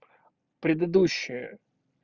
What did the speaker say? предыдущая